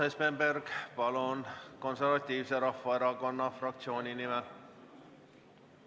Urmas Espenberg, palun, Konservatiivse Rahvaerakonna fraktsiooni nimel!